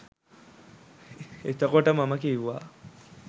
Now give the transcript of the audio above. එතකොට මම කිව්වා